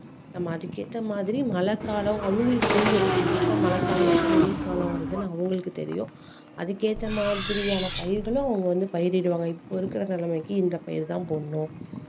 நம்ம அதுக்கேத்த மாதிரி மழை காலம் அவங்களுக்கு தெரியும் எப்போ மழை காலம் எப்போ வெயில் காலம் வருதுன்னு அவங்களுக்கு தெரியும் அதுக்கேத்த மாதிரியான பயிர்களும் அவங்க வந்து பயிரிடுவாங்க இப்போ இருக்கிற நிலமைக்கு இந்த பயிர்தான் போடணும்